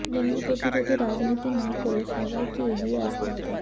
dengue প্রতিরোধে রাজনীতি না করে সবাইকে এগিয়ে আসতে হবে